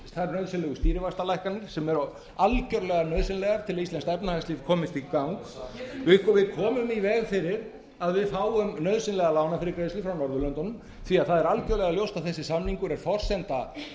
veg fyrir þær nauðsynlegu stýrivaxtalækkanir sem eru algjörlega nauðsynlega til að íslenskt efnahagslíf komist í gang við komum í veg fyrir að við fáum nauðsynlega lánafyrirgreiðslu frá norðurlöndunum því það er algjörlega ljóst að þessi samningur er forsenda